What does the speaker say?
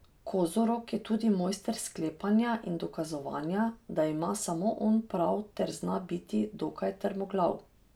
Kozorog je tudi mojster sklepanja in dokazovanja, da ima samo on prav ter zna biti dokaj trmoglav.